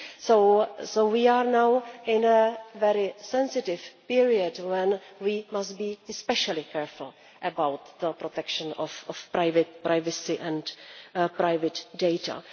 So we are now in a very sensitive period when we must be especially careful about the protection of privacy and private data.